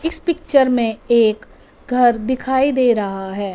इस पिक्चर में एक घर दिखाई दे रहा है।